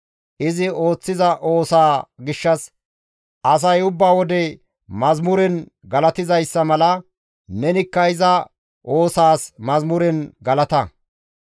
Izi ooththiza oosaa gishshas asay ubba wode mazamuren galatizayssa mala, nenikka iza oosaas yeththan galata.